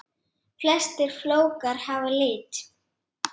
Flestir flókar hafa lit.